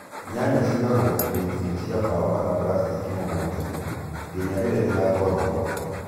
Nyanya cigagwo irĩtiinĩ cia mbaũ kana plaskĩki mũgũndainĩ nginya rĩrĩa ũgatwarwo thoko